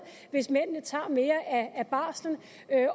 hvis mændene tager mere af barslen